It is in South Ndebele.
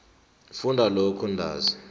funda lokhu ntanzi